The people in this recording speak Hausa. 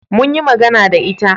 mun yi magana da ita